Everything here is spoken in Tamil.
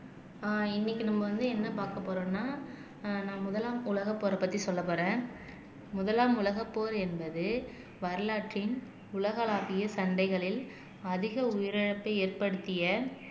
ஆஹ் இன்னைக்கு நம்ம வந்து என்ன பார்க்கப் போறோம்னா ஆஹ் நான் முதலாம் உலகப் போரைப் பத்தி சொல்லப் போறேன் முதலாம் உலகப் போர் என்பது வரலாற்றின் உலகளாவிய சந்தைகளில் அதிக உயிரிழப்பை ஏற்படுத்திய